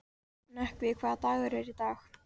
Nökkvi, hvaða dagur er í dag?